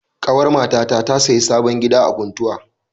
Ƙawar matata ta sayi sabon gida a Kuntau.